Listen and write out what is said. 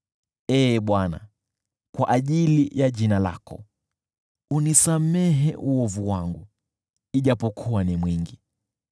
Ee Bwana , kwa ajili ya jina lako, unisamehe uovu wangu, ijapokuwa ni mwingi.